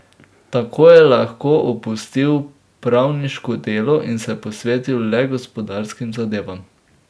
Tako je lahko opustil pravniško delo in se posvetil le gospodarskim zadevam.